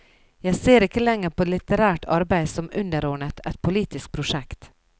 Jeg ser ikke lenger på litterært arbeide som underordnet et politisk prosjekt.